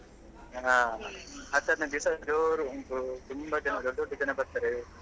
ಹಾ ಹತ್ ಹದಿನೈದು ದಿವ್ಸ ಜೋರು ಉಂಟು ತುಂಬಾ ಜನ ದೊಡ್ಡ ದೊಡ್ಡ ಜನ ಬರ್ತಾರೆ.